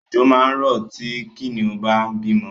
Ọ̀jọ̀ máa rọ̀ tí Kìnìún bá ń bímọ